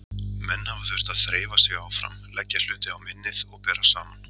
Menn hafa þurft að þreifa sig áfram, leggja hluti á minnið og bera saman.